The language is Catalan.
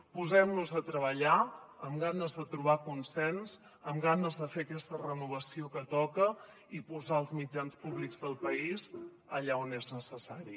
posem nos a treballar amb ganes de trobar consens amb ganes de fer aquesta renovació que toca i posar els mitjans públics del país allà on és necessari